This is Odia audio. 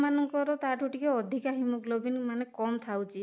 ମାନଙ୍କର ତା ଠୁ ଟିକେ ଅଧିକା haemoglobin ମାନେ କମ ଥାଉଛି